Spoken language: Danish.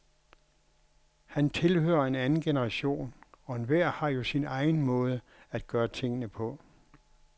Han tilhører en anden generation, og enhver har jo sin egen måde at gøre tingene på.